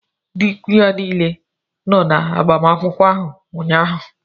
Ndị ikwu ya niile nọ na agbamakwụkwọ áhù ụnyaahụ